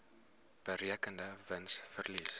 berekende wins verlies